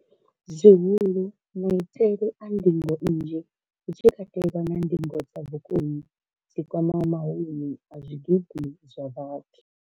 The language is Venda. Zwihulu, maitele a ndingo nnzhi, hu tshi katelwa na ndingo dza vhukoni dzi kwamaho mahumi a zwigidi zwa vhathu.